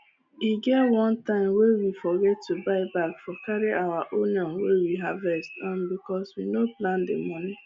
e get one time wey we forget to buy bag for carry our onions wey we harvest um bcos we no plan the moni